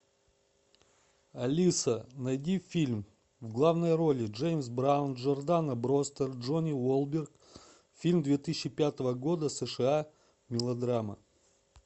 алиса найди фильм в главной роли джеймс браун джордана брюстер джонни уолберг фильм две тысячи пятого года сша мелодрама